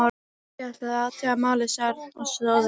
Ég ætla að athuga málið, sagði Örn og stóð upp.